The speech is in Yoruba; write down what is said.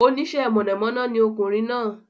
Oníṣe mọ̀nà mọ́ná ni ọkùnrin náà